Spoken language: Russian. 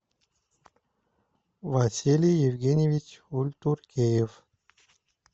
василий евгеньевич ультуркеев